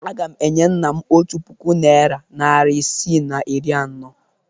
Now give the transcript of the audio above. Agam enye nna m otu puku naịra narị isii na iri anọ.